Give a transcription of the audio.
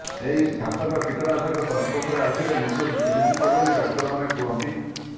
ଏହି ଘାତକ କୀଟନାଶକ ସଂଷ୍ପର୍ସରେ ଆସିଲେ ମୃତ୍ୟୁ ସୁନିଶ୍ଚିତ ବୋଲି ଡାକ୍ତରମାନେ କୁହନ୍ତି